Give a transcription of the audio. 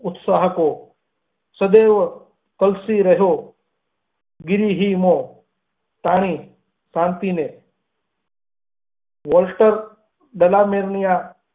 ઉત્સાહ હતો સદૈવ તલસી રહયો ગિરિહીમો તણી શાંતિ ને વોલ્ટર ફ્લામેટ ની આ.